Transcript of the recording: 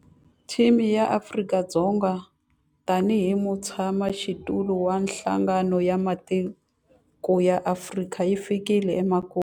Theme ya Afrika-Dzonga tanihi mutshamaxitulu wa Nhlangano wa Matiko ya Afrika yi fikile emakumu.